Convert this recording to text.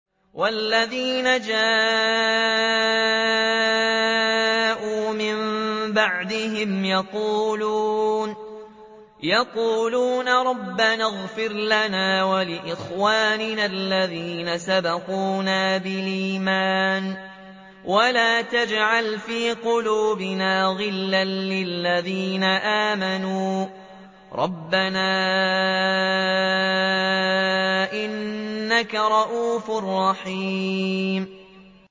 وَالَّذِينَ جَاءُوا مِن بَعْدِهِمْ يَقُولُونَ رَبَّنَا اغْفِرْ لَنَا وَلِإِخْوَانِنَا الَّذِينَ سَبَقُونَا بِالْإِيمَانِ وَلَا تَجْعَلْ فِي قُلُوبِنَا غِلًّا لِّلَّذِينَ آمَنُوا رَبَّنَا إِنَّكَ رَءُوفٌ رَّحِيمٌ